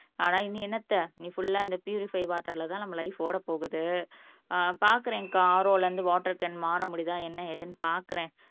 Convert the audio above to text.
ஆனா இனி என்னத்த இனி ஃபுல்லா இந்த பியூரிஃபைடு வாட்டர்ல தான் நம்ம லைஃப் ஓட போகுது பாக்கறேங்க்கா RO ல இருந்து வாட்டர் கேன் மாற முடியுதா என்ன ஏதுன்னு பார்க்கிறேன்